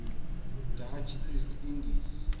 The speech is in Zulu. dutch east indies